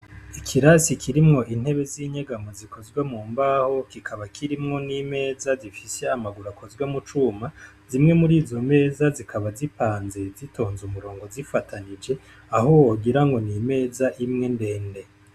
Ikirasi kirimwo intebe z'inyegamo zikozwe mu mbaho kikaba kirimwo n' imeza zifise amaguru akozwe mu cuma, zimwe murizo meza zikaba zipanze zitonze umurongo zifatanije aho wogira ngo ni imeza imwe ndende.